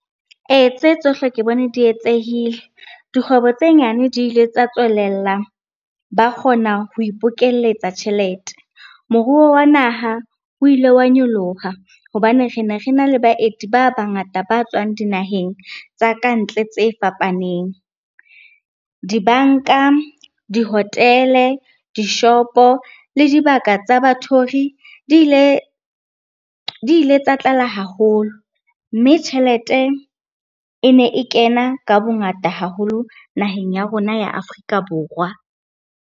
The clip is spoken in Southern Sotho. Ee, tse tsohle ke bone di etsehile. Dikgwebo tse nyane di ile tsa tswelella, ba kgona ho ipokelletsa tjhelete. Moruo wa naha o ile wa nyoloha hobane re ne rena le baeti ba bangata ba tswang dinaheng tsa ka ntle tse fapaneng. Dibanka, di-hotel-e, dishopo le dibaka tsa bathori di ile tsa tlala haholo, mme tjhelete e ne e kena ka bongata haholo naheng ya rona ya Afrika Borwa.